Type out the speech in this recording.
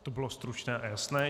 To bylo stručné a jasné.